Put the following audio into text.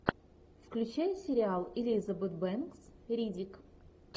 включай сериал элизабет бэнкс риддик